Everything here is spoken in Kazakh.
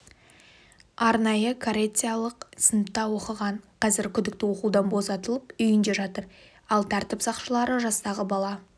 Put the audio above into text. арнайы коррекциялық сыныпта оқыған қазір күдікті оқудан босатылып үйінде жатыр ал тәртіп сақшылары жастағы бала